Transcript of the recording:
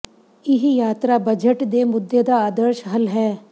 ਇਹ ਯਾਤਰਾ ਬਜਟ ਦੇ ਮੁੱਦੇ ਦਾ ਆਦਰਸ਼ ਹੱਲ ਹੈ